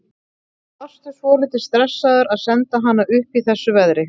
Varstu svolítið stressaður að senda hana upp í þessu veðri?